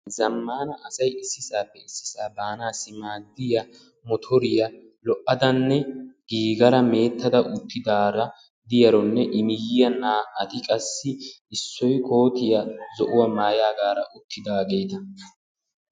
Zammaana asay issisaappe issisaa baanaassi maaddiya motoriya lo"adanne giigada mee'etta uttidaara diyaronne I miyyiyan naa"ati qassi issoy kootiya zo'uwa maayaagaara uttidaageeta.